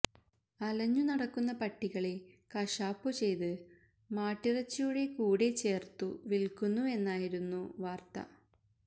അലഞ്ഞു നടക്കുന്ന പട്ടികളെ കശാപ്പു ചെയ്ത് മാട്ടിറച്ചിയുടെ കൂടെ ചേര്ത്തു വില്ക്കുന്നു എന്നായിരുന്നു വാര്ത്ത